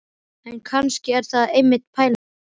En kannski er það einmitt pælingin.